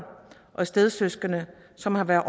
og stedsøskende som har været